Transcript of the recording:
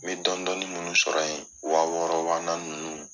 Me dɔni dɔni min sɔrɔ yen wa wɔɔrɔ wa naani ninnu.